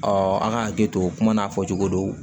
an ka hakili to kuma n'a fɔ cogo do